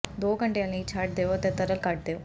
ਦੋ ਘੰਟਿਆਂ ਲਈ ਛੱਡ ਦਿਓ ਅਤੇ ਤਰਲ ਕੱਢ ਦਿਓ